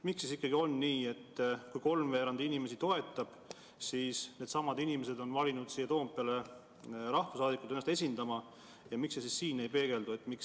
Miks ikkagi on nii, et kui kolmveerand kodanikest seda toetab, siis needsamad kodanikud on valinud siia Toompeale rahvasaadikud ennast esindama, aga siin see arvamus ei peegeldu?